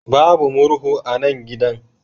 Babu murhu a nan gidan.